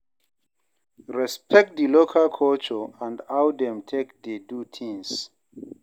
Respect di local culture and how dem take dey do things